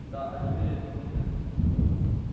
да они верят но мы нет